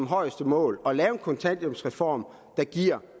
højeste mål at lave en kontanthjælpsreform der giver